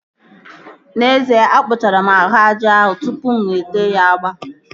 N'ezie, akpụchara m ahụ aja ahụ tụpụ mụ ete ya agba